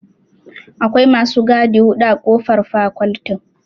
Akwai masu gadi guda huɗu a ƙofar fakoltin.